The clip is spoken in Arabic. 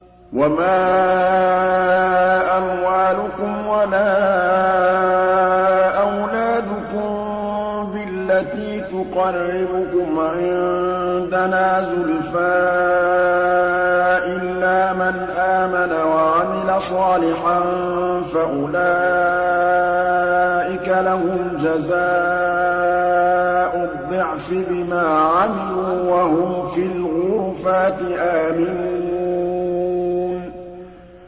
وَمَا أَمْوَالُكُمْ وَلَا أَوْلَادُكُم بِالَّتِي تُقَرِّبُكُمْ عِندَنَا زُلْفَىٰ إِلَّا مَنْ آمَنَ وَعَمِلَ صَالِحًا فَأُولَٰئِكَ لَهُمْ جَزَاءُ الضِّعْفِ بِمَا عَمِلُوا وَهُمْ فِي الْغُرُفَاتِ آمِنُونَ